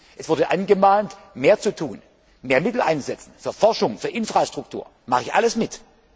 Es wurde angemahnt, mehr zu tun, mehr Mittel einzusetzen für Forschung und Infrastruktur. Das mache ich alles